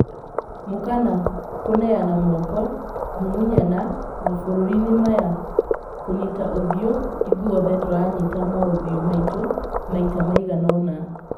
Mũkana kũneana moko, kũmumunyana mabũrũri-inĩmaya'kũnyita ũthiũ' ithuothe tũranyita maũthiũ maitũ maita maiganona